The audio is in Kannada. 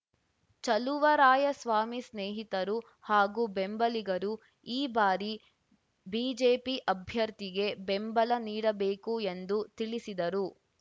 ಚಲುವರಾಯಸ್ವಾಮಿ ಸ್ನೇಹಿತರು ಹಾಗೂ ಬೆಂಬಲಿಗರು ಈ ಬಾರಿ ಬಿಜೆಪಿ ಅಭ್ಯರ್ಥಿಗೆ ಬೆಂಬಲ ನೀಡಬೇಕು ಎಂದು ತಿಳಿಸಿದರು